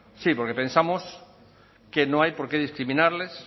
sí porque pensamos que no hay por qué discriminarles